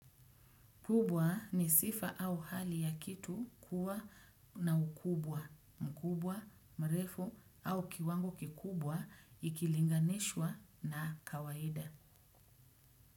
Kubwa, ni sifa au hali ya kitu kuwa na ukubwa, mkubwa, mrefu au kiwango kikubwa ikilinganishwa na kawaida.